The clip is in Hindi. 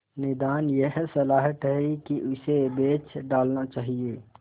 निदान यह सलाह ठहरी कि इसे बेच डालना चाहिए